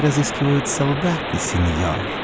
разыскивают солдаты сеньор